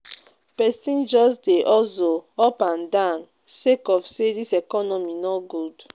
Pesin just dey hustle up and down sake of sey dis economy no good.